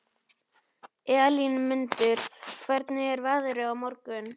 Elínmundur, hvernig er veðrið á morgun?